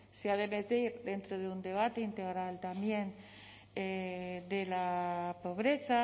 se ha de debatir dentro de un debate integral también de la pobreza